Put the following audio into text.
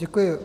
Děkuji.